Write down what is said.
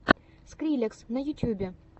скриллекс на ютьюбе